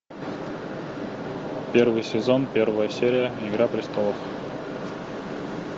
первый сезон первая серия игра престолов